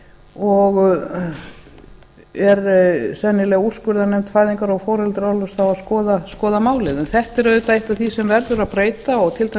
og er sennilega úrskurðarnefnd fæðingar og foreldraorlofs þá að skoða málið en þetta er auðvitað eitt af því sem verður að breyta og